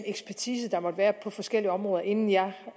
ekspertise der måtte være på forskellige områder inden jeg